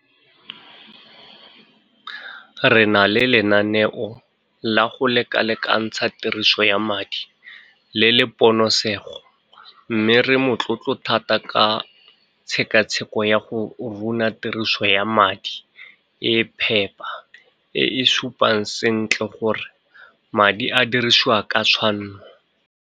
Re na le lenaneo la go lekalekantsha tiriso ya madi le le ponosego mme re motlotlo thata ka tshekatsheko ya go runa tiriso ya madi e phepa e e supang sentle gore madi a dirisiwa ka tshwanno.